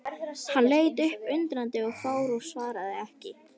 Hann leit upp undrandi og fár og svaraði ekki.